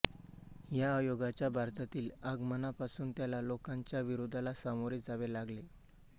या आयोगाच्या भारतातील आगमनापासून त्याला लोकांच्या विरोधाला सामोरे जावे लागले